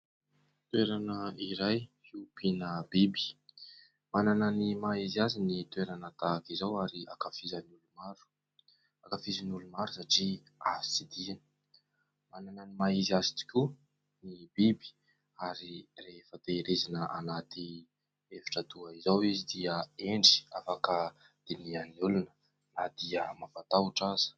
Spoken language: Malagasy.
Toerana iray hiompina biby, manana ny maha izy azy ny toerana tahaka izao ary ankafizan'ny olona maro, ankafizan'ny olo maro satria azo tsidihana, manana ny maha izy azy tokoa ny biby ary rehefa tehirizina anaty efitra toa izao izy dia hendry, afaka dinihan'ny olona na dia mampatahotra aza.